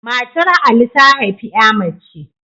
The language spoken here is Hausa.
Matar Ali ta haifi ƴa mace